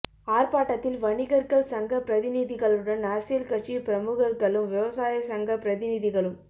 ஆர்ப்பாட்டத்தில் வணிகர்கள் சங்கப் பிரதிநிதிகளுடன் அரசியல் கட்சி பிரமுகர்களும் விவசாயச் சங்கப் பிரதிநிதிகளும்